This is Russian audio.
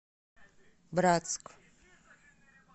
братск